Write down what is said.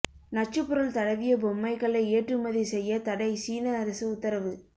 நச்சுப்பொருள் தடவிய பொம்மைகளை ஏற்றுமதி செய்ய தடை சீன அரசு உத்தரவு